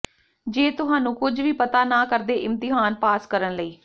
ਜੇ ਤੁਹਾਨੂੰ ਕੁਝ ਵੀ ਪਤਾ ਨਾ ਕਰਦੇ ਇਮਤਿਹਾਨ ਪਾਸ ਕਰਨ ਲਈ